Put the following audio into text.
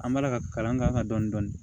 An b'a la ka kalan k'an ka dɔni